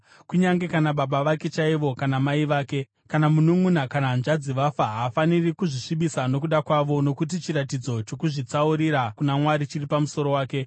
Kunyange kana baba vake chaivo, kana mai vake, kana mununʼuna kana hanzvadzi vafa, haafaniri kuzvisvibisa nokuda kwavo, nokuti chiratidzo chokuzvitsaurira kuna Mwari chiri pamusoro wake.